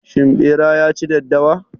Shin ɓera ya ci daddawa?